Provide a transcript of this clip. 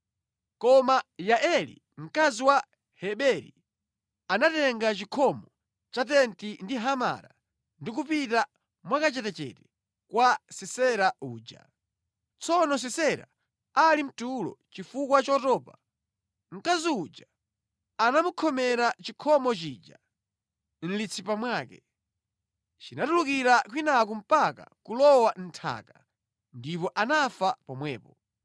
Koma Yaeli mkazi wa Heberi, anatenga chikhomo cha tenti ndi hamara ndi kupita mwakachetechete kwa Sisera uja. Tsono Sisera ali mtulo chifukwa chotopa, mkazi uja anamukhomera chikhomo chija mʼmutu mwake. Chinatulukira kwinaku mpaka kulowa mʼnthaka, ndipo anafa pomwepo.